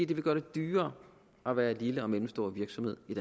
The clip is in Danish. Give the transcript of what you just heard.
det vil gøre det dyrere at være en lille eller mellemstor virksomhed i